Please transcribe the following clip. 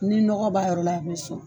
Ni nɔgɔ b'a yɔrɔ la, a bi sɔn